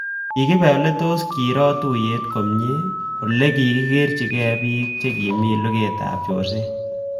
Kikibe ole kitos kiro tuiyet komye ako kikerchinikei bik chekimi lugetab chorset